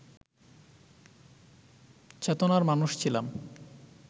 চেতনার মানুষ ছিলাম